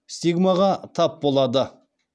стигмаға тап болады